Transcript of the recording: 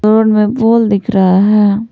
Road में pole दिख रहा है।